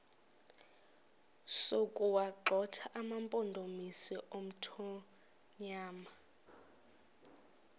sokuwagxotha amampondomise omthonvama